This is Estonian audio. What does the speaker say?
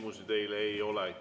Küsimusi teile ei ole.